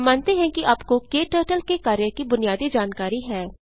हम मानते हैं कि आपको क्टर्टल के कार्य की बुनियादी जानकारी है